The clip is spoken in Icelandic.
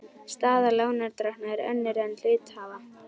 Staða lánardrottna er önnur en hluthafa.